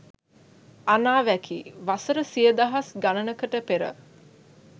අනාවැකි! වසර සිය දහස් ගනනකට පෙර